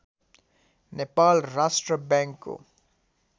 नेपाल राष्ट्र बैङ्कको